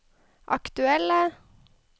aktuelle